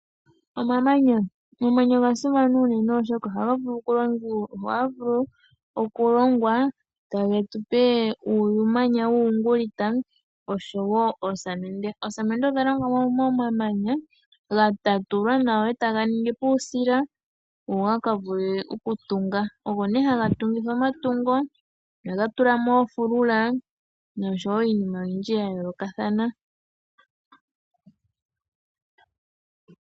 Omamanya Omamanya oga simana, oshoka ohaga vulu okulongwa e tage tu pe uumanya wuuyungulita noshowo oosamende. Oosamende odha longwa momamanya ga tatulwa nawa e taga ningi po uusila go ga ka vule okutunga. Oyo nduno hayi tungithwa omatungo, okutula mo oofulula noshowo iinima oyindji ya yoolokathana.